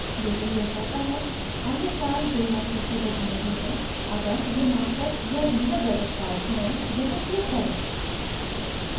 लेकिन यह कहता है any card जो यहाँ सूचीबद्ध नहीं हैं अगर यह master या visa debit card हों यहाँ click करें